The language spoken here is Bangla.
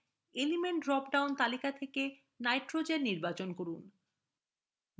element drop down তালিকা থেকে nitrogen নির্বাচন করুন